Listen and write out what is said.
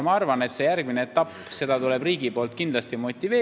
Ma arvan, et järgmist etappi tuleb riigil kindlasti motiveerida.